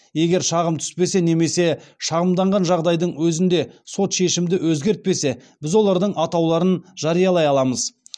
егер шағым түспесе немесе шағымданған жағдайдың өзінде сот шешімді өзгертпесе біз олардың атауларын жариялай аламыз